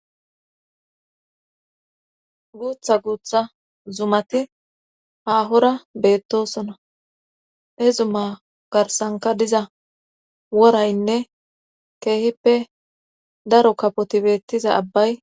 Guutha guutha zumati haahora beettosona he zuma garsanka diza woraynne keehippe daro kapoti bettiza abbay